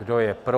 Kdo je pro?